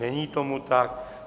Není tomu tak.